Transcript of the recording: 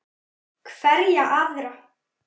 Hverja aðra?